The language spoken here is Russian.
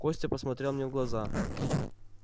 костя посмотрел мне в глаза